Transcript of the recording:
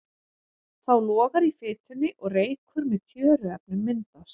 Þá logar í fitunni og reykur með tjöruefnum myndast.